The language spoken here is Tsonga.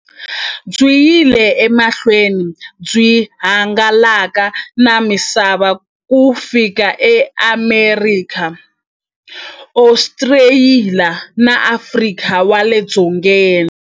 Byi yile emahlweni byi hangalaka na misava ku fika e Amerika, Ostraliya na Afrika wale dzongeni.